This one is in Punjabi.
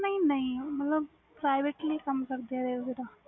ਨਹੀਂ ਨਹੀਂ ਮਤਬਲ privately ਕਮ ਕਰਦੇ ਵ railway ਦਾ